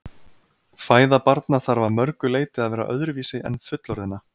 Fæða barna þarf að mörgu leyti að vera öðruvísi en fullorðinna.